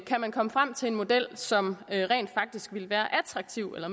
kan komme frem til en model som rent faktisk vil være attraktiv eller